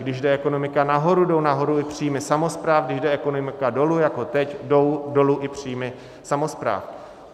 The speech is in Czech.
Když jde ekonomika nahoru, jdou nahoru i příjmy samospráv, když jde ekonomika dolů jako teď, jdou dolů i příjmy samospráv.